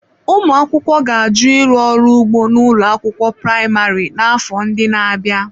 Ụmụaka ga-ajụ ịrụ ọrụ ugbo na ụlọ akwụkwọ praịmarị n'afọ ndị na-abịa.